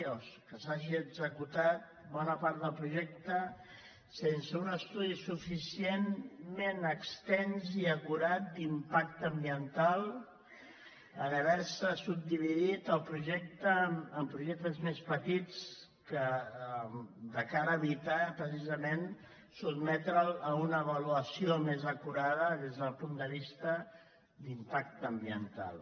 o que s’hagi executat bona part del projecte sense un estudi suficientment extens i acurat d’impacte ambiental en haver·se subdividit el projecte en projectes més petits de cara a evitar precisament sotmetre’l a una avalua·ció més acurada des del punt de vista d’impacte ambi·ental